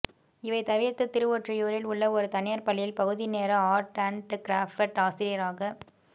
இவை தவிர்த்து திருவொற்றியூரில் உள்ள ஒரு தனியார் பள்ளியில் பகுதி நேர ஆர்ட் அண்ட் கிராஃப்ட் ஆசிரியராகப்